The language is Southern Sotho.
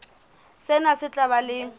sena se tla ba le